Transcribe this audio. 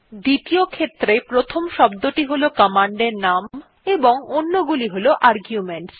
দ্বিতীয ক্ষেত্রে প্রথম শব্দটি হল কমান্ডের প্রকৃত নাম এবং অন্যগুলি হল আর্গুমেন্টস